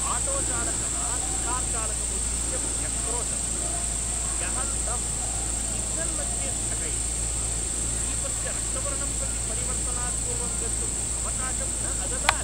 आटोचालकः कार्चालकम् उद्दिश्य व्यक्रोशत्, यः तं सिग्नल्मध्ये स्थगयित्वा, दीपस्य रक्तवर्णं प्रति परिवर्तनात् पूर्वं गन्तुम् अवकाशं न अददात्।